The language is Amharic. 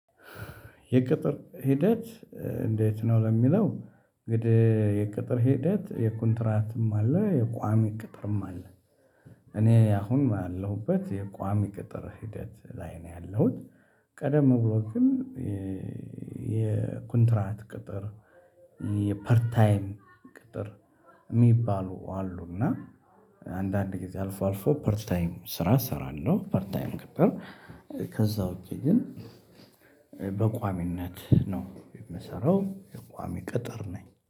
የቅጥር ሂደት እንዴት? ነው ለሚለው እንግዲህ የቅጥር ሂደት የኮንትራትም አለ የቋሚ ቅጥርም አለ። እኔ አሁን ያለሁበት የቋሚ ቅጥር ሂደት ላይ ነው ያለሁት። ቀደም ብሎ ግን የኮንትራት ቅጥር የፐር ታይም ቅጥር እሚባሉ አሉ። እና አንዳንድ ጊዜ አልፎ አልፎ ፐር ታይም ስራ እሰራለሁ ፐርት ታይም። ከዛ ውጭ ግን በቋሚነት ነው የምሰራው። ቋሚ ቅጥር ነኝ